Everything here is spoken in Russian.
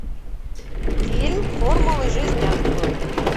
фильм формулы жизни открой